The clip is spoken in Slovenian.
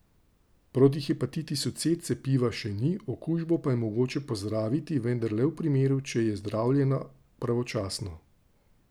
Proti hepatitisu C cepiva še ni, okužbo pa je mogoče pozdraviti vendar le v primeru, če jo zdravljena pravočasno.